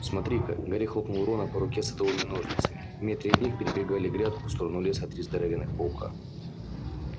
смотри-ка гарри хлопнул рона по руке садовыми ножницами в метре от них перебегали грядку в сторону леса три здоровенных паука